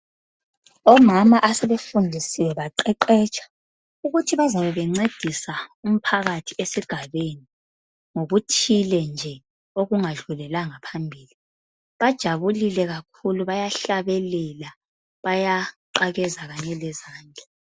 Omama asebefundisiwe baqeqetsha ukuthi bazabe bencedisa umphakathi esigabeni ngokuthile nje okungadlulelanga phambili bajabulile kakhulu bayahlabelela bayaqakeza kanye lezandla.